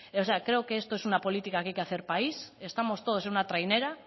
o sea creo que esto es una política que hay que hacer país estamos todos en una trainera